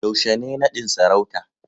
yaushe ne nadin sarauta